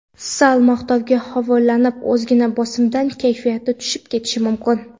Sal maqtovga havolanib, ozgina bosimdan kayfiyati tushib ketishi mumkin.